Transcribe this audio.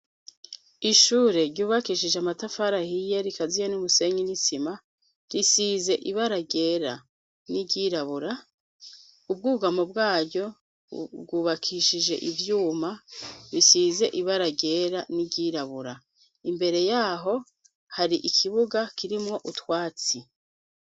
Ishure ryubakishije amatafara ahiye, rikaziye n'umusenyi n'isima. Risize ibara ryera n'iryirabura. Ubwugamo bwaryo bwubakishije ivyuma bisize ibara ryera n'iryirabura. Imbere y'aho, har'ikibuga kirimwo utwatsi.